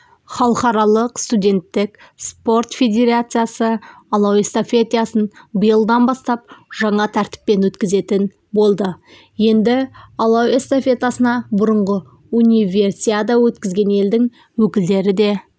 халықаралық студенттік спорт федерациясы алау эстафетасын биылдан бастап жаңа тәртіппен өткізетін болды енді алау эстафетасына бұрынғы универсиада өткізген елдің өкілдері де